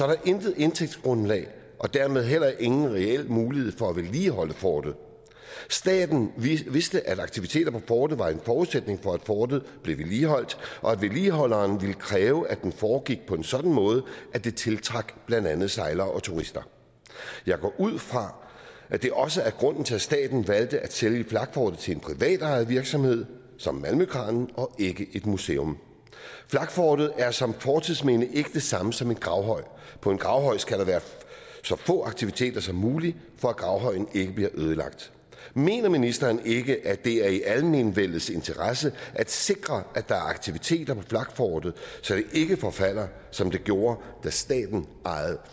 der intet indtægtsgrundlag og dermed heller ingen reel mulighed for at vedligeholde fortet staten vidste at aktiviteter på fortet var en forudsætning for at fortet blev vedligeholdt og at vedligeholderen ville kræve at det foregik på en sådan måde at det tiltrak blandt andet sejlere og turister jeg går ud fra at det også er grunden til at staten valgte at sælge flakfortet til en privatejet virksomhed som malmøkranen og ikke et museum flakfortet er som fortidsminde ikke det samme som en gravhøj på en gravhøj skal der være så få aktiviteter som muligt for at gravhøjen ikke bliver ødelagt mener ministeren ikke at det er i almenvellets interesse at sikre at der er aktiviteter på flakfortet så det ikke forfalder som det gjorde da staten ejede